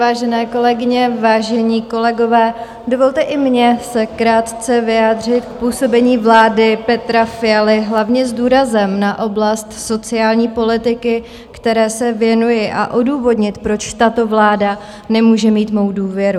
Vážené kolegyně, vážení kolegové, dovolte i mně se krátce vyjádřit k působení vlády Petra Fialy hlavně s důrazem na oblast sociální politiky, které se věnuji, a odůvodnit, proč tato vláda nemůže mít mou důvěru.